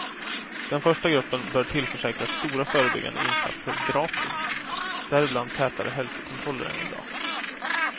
Den första gruppen bör tillförsäkras stora förebyggande insatser gratis, däribland tätare hälsokontroller än i dag.